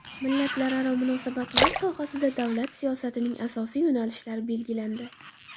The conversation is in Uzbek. Millatlararo munosabatlar sohasida davlat siyosatining asosiy yo‘nalishlari belgilandi.